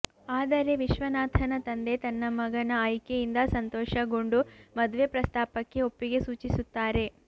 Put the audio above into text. ಆದರೆ ವಿಶ್ವನಾಥನ ತಂದೆ ತನ್ನ ಮಗನ ಆಯ್ಕೆಯಿಂದ ಸಂತೋಷಗೊಂಡು ಮದುವೆ ಪ್ರಸ್ತಾಪಕ್ಕೆ ಒಪ್ಪಿಗೆ ಸೂಚಿಸುತ್ತಾರೆ